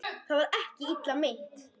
Það var ekki illa meint.